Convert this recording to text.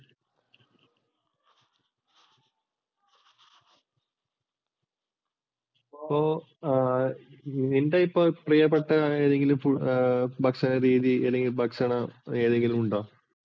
ഇപ്പോൾ നിൻ്റെ ഇപ്പോൾ പ്രിയപ്പെട്ട ഏതെങ്കിലും ഭക്ഷണ രീതി ഏതെങ്കിലും ഉണ്ടോ?